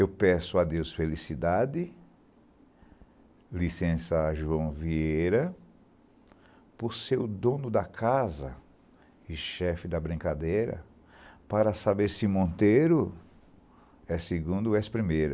Eu peço a Deus felicidade, licença João Vieira, por ser o dono da casa e chefe da brincadeira, para saber se Monteiro é segundo ou és primeira.